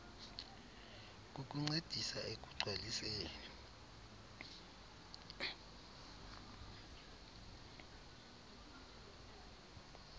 kukuncedisa ekugc waliseni